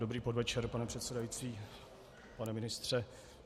Dobrý podvečer, pane předsedající, pane ministře.